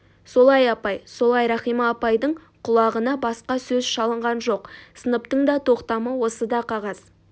солай апай солай рахима апайдың құлағына баска сөз шалынған жоқ сыныптың да тоқтамы осы да қағаз